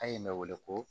An ye ne wele ko